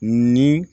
Ni